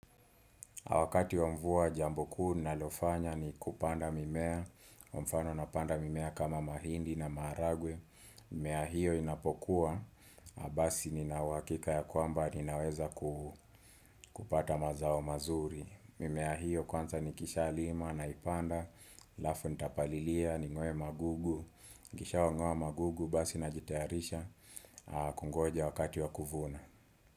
Wakati mvua jambo kuu ninalofanya ni kupanda mimea, kwa mfano napanda mimea kama mahindi na maragwe mimea hiyo inapokuwa, basi ni nauhakika ya kwamba, ninaweza kupata mazao mazuri mimea hiyo kwanza ni kisha lima na ipanda, alafu nitapalilia, ni ngoe magugu kisha wangoa magugu, basi na jitaharisha kungoja wakati wa kuvuna.